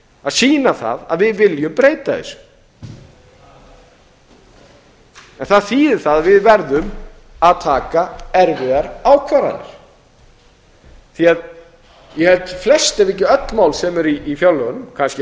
að sýna það að við viljum breyta þessu það þýðir það að við verðum að taka erfiðar ákvarðanir því ég held að flest ef ekki öll mál sem eru í fjárlögunum kannski